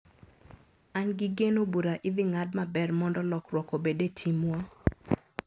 An gi geno bura idhi ng`ad maber mondo lokruok obed e timwa.